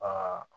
Aa